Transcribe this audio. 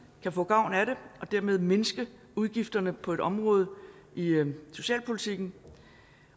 kan få gavn af det og dermed mindske udgifterne på et område i socialpolitikken